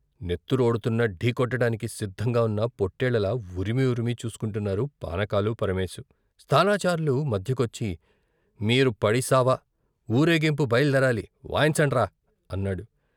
నెత్తురోడుతున్నా, ఢీకొనటానికి సిద్ధంగా ఉన్న పొట్టేళ్ళలా ఉరిమి ఉరిమి చూసుకుంటున్నారు పానకాలు, పరమేశు. స్థానాచార్లు మధ్యకొచ్చి మీరు పడిచావ ఊరేగింపు బయలుదేరాలి, వాయించండ్రా అన్నాడు .